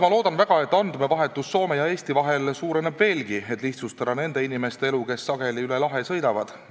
Ma loodan väga, et andmevahetus Soome ja Eesti vahel suureneb veelgi, et lihtsustada nende inimeste elu, kes sageli üle lahe sõidavad.